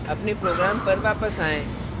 अपने program पर वापस आएँ